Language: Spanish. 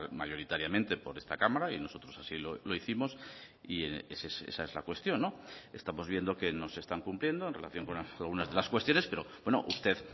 mayoritariamente por esta cámara y nosotros así lo hicimos y esa es la cuestión estamos viendo que no se están cumpliendo en relación con algunas de las cuestiones pero usted